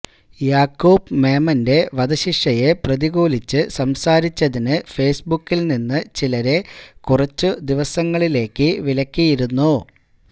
യാക്കൂബ് മേമന്റെ വധശിക്ഷയെ പ്രതികൂലിച്ച് സംസാരിച്ചതിന് ഫേസ്ബുക്കില് നിന്ന് ചിലരെ കുറച്ചു ദിവസങ്ങളിലേക്ക് വിലക്കിയിരുന്നു